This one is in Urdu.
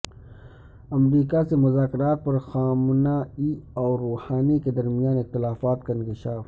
امریکا سے مذاکرات پر خامنہ ای اور روحانی کے درمیان اختلافات کا انکشاف